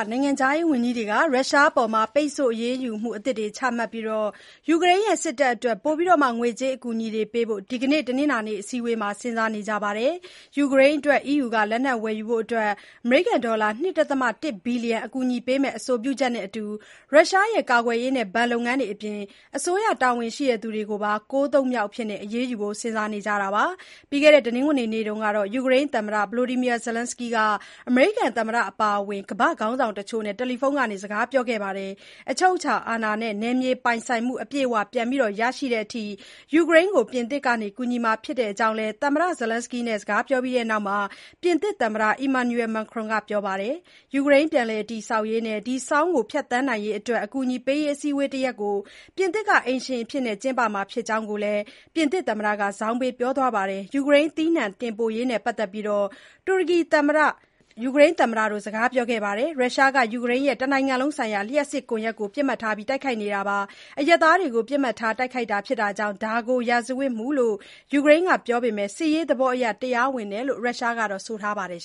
နိုင်ငံခြားရေးဝန်ကြီးတွေက ရုရှားအပေါ် ပိတ်ဆို့အရေးယူမှု အသစ်တွေချပြီး ယူကရိန်းစစ်တပ်အတွက် ပိုပြီး ငွေကြေးအကူအညီပေးဖို့ ဒီနေ့ တနင်္လာနေ့ အစည်းအဝေးမှာ စဉ်းစားနေကြပါတယ်။ ယူကရိန်းအတွက် အီးယူ က လက်နက်ဝယ်ယူဖို့ ဒေါ်လာ ၂.၁ ဘီလီယံကူညီပေးမယ့် အဆိုပြုချက်နဲ့အတူ ရုရှားရဲ့ကာကွယ်ရေးနဲ့ ဘဏ်လုပ်ငန်းတွေအပြင် အစိုးရတာဝန်ရှိသူတွေကိုပါ ၉ သုတ်မြောက်အဖြစ် အရေးယူဖို့ စဉ်းစားနေကြတာပါ။ တနင်္ဂနွေနေ့တုန်းကတော့ ယူကရိန်းသမ္မတ Volodymyr Zelenskyy ဟာ အမေရိကန်သမ္မတအပါအဝင် ကမ္ဘာခေါင်းဆောင်တချို့နဲ့ ဖုန်းကနေစကားပြောခဲ့ပါတယ်။ အချုပ်အခြာအာဏာနဲ့ နယ်မြေပိုင်ဆိုင်မှု အပြည့်အဝပြန်လည်ရရှိသည်အထိ ယူကရိန်းကို ပြင်သစ်က ကူညီမှာဖြစ်ကြောင်း သမ္မတ Zelenskyy နဲ့ စကားပြောပြီးတဲ့နောက် ပြင်သစ်သမ္မတ Emmanuel Macron က ပြောပါတယ်။ ယူကရိန်း ပြန်လည်တည်ဆောက်ရေးနဲ့ ဒီ ဆောင်းကို ဖြတ်သန်းနိုင်ရေးအတွက် အကူအညီပေးရေး အစည်းအဝေးတရပ်ကို ပြင်သစ်က အိမ်ရှင်အဖြစ် ကျင်းပမှာကိုလည်း Macron က ဇောင်းပေး ပြောသွားပါတယ်။ ယူကရိန်း သီးနှံတင်ပို့ရေးနဲ့ပတ်သက်ပြီး တူရကီသမ္မတ Recep Tayyip Erdogan နဲ့လည်း သမ္မတ Zelenskyy က စကားပြောခဲ့ပါသေးတယ်။ ရုရှားက ယူကရိန်းရဲ့ တနိုင်ငံလုံးဆိုင်ရာ လျှပ်စစ်ကွန်ယက်ကို ပစ်မှတ်ထားတိုက်ခိုက်နေခဲ့တာပါ။ အရပ်သားတွေကို ပစ်မှတ်ထား တိုက်ခိုက်တာဖြစ်တာကြောင့် ဒါကို စစ်ရာဇဝတ်မှုလို့ ယူကရိန်းကပြောပေမဲ့ စစ်ရေးသဘောအရ တရားဝင်တယ်လို့ ရုရှားကတော့ ဆိုပါတယ်